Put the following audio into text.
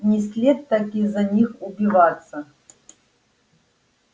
не след так из-за них убиваться